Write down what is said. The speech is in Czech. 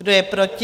Kdo je proti?